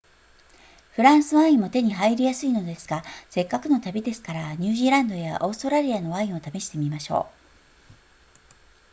フランスワインも手に入りやすいのですがせっかくの旅ですからニュージーランドやオーストラリアのワインを試してみましょう